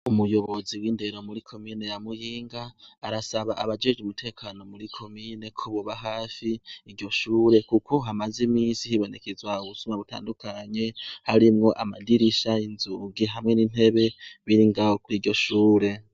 Umuyobozi w'indero mu komine ya Muyinga arasaba abajejwe umutekano muri komine ko boba hafi iryo shure kuko hamaze iminsi hibonekeza ubusuma butandukanye harimwo amadirisha, inzugi hamwe n'intebe biri ngaho kuri iryo shure.